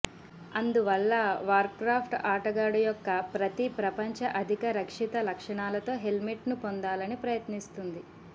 అందువల్ల వార్క్రాఫ్ట్ ఆటగాడు యొక్క ప్రతి ప్రపంచ అధిక రక్షిత లక్షణాలతో హెల్మెట్ను పొందాలని ప్రయత్నిస్తుంది